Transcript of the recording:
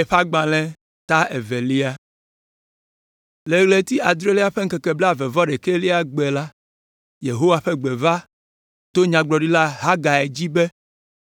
Le ɣleti adrelia ƒe ŋkeke blaeve-vɔ-ɖekɛlia gbe la, Yehowa ƒe gbe va to Nyagblɔɖila Hagai dzi be,